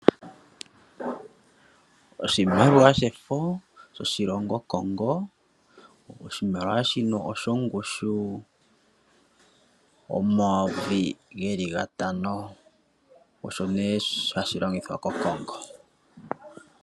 Oshimaliwa shefo shoshilongo Congo. Oshimaliwa shino osho ngushu omayovi geli gatano osho ne hashi longithwa koCongo.